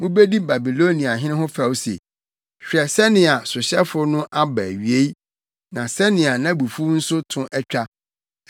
mubedi Babiloniahene ho fɛw se: hwɛ sɛnea sohyɛfo no aba nʼawie! ne sɛnea nʼabufuw nso to atwa!